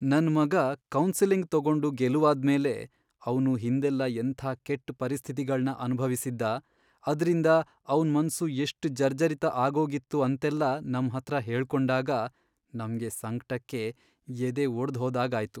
ನನ್ ಮಗ ಕೌನ್ಸೆಲಿಂಗ್ ತಗೊಂಡು ಗೆಲುವಾದ್ಮೇಲೆ ಅವ್ನು ಹಿಂದೆಲ್ಲ ಎಂಥ ಕೆಟ್ಟ್ ಪರಿಸ್ಥಿತಿಗಳ್ನ ಅನ್ಭವಿಸಿದ್ದ, ಅದ್ರಿಂದ ಅವ್ನ್ ಮನ್ಸು ಎಷ್ಟ್ ಜರ್ಜರಿತ ಆಗೋಗಿತ್ತು ಅಂತೆಲ್ಲ ನಮ್ಹತ್ರ ಹೇಳ್ಕೊಂಡಾಗ ನಮ್ಗೆ ಸಂಕ್ಟಕ್ಕೆ ಎದೆ ಒಡ್ದ್ಹೋದಾಗಾಯ್ತು.